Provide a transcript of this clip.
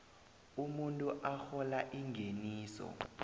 umuntu arhola ingeniso